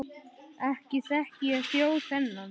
Ekki þekki ég þjó þennan.